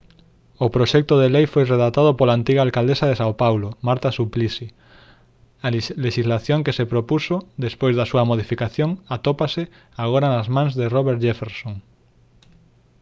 o proxecto de lei foi redactado pola antiga alcaldesa de são paulo marta suplicy a lexislación que se propuxo despois da súa modificación atópase agora nas mans de roberto jefferson